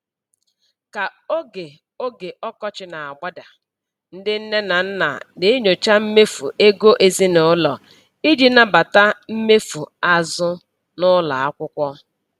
Ka oge oge ọkọchị na-agbada, ndị nne na nna na-enyocha mmefu ego ezinụlọ iji nabata mmefu azụ n'ụlọ akwụkwọ.